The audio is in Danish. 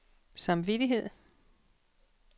samvittighed